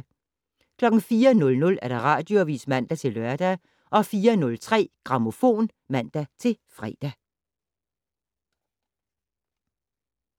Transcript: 04:00: Radioavis (man-lør) 04:03: Grammofon (man-fre)